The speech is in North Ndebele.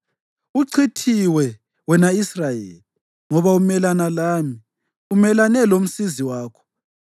Uchithiwe, wena Israyeli, ngoba umelane lami, umelane lomsizi wakho.